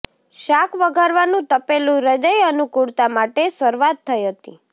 શાક વઘારવાનું તપેલું હૃદય અનુકૂળતા માટે શરૂઆત થઈ હતી